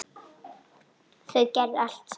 Þau gerðu allt saman.